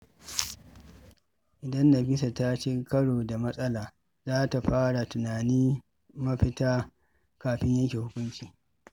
Idan Nafisa ta ci karo da matsala, za ta fara tunanin mafita kafin yanke hukunci.